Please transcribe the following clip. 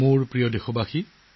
মোৰ প্ৰিয় দেশবাসী